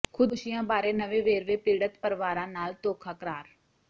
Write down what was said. ਖ਼ੁਦਕੁਸ਼ੀਆਂ ਬਾਰੇ ਨਵੇਂ ਵੇਰਵੇ ਪੀਡ਼ਤ ਪਰਿਵਾਰਾਂ ਨਾਲ ਧੋਖਾ ਕਰਾਰ